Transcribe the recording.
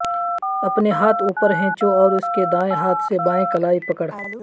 اپنے ہاتھ اوپر ھیںچو اور اس کے دائیں ہاتھ سے بائیں کلائی پکڑ